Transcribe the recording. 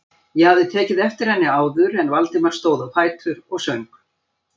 Ég hafði tekið eftir henni áður en Valdimar stóð á fætur og söng.